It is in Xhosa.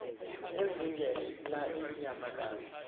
ezinge la iinyamakazi